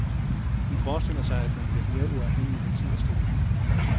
Hun forestiller sig, at man bliver mere uafhængig af tid og sted.